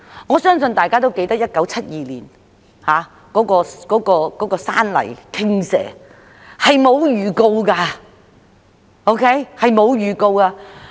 我相信大家也記得1972年的山泥傾瀉，這類情況是無法預告的。